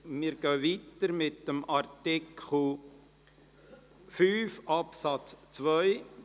Wir fahren weiter und kommen zu Artikel 5 Absatz 2.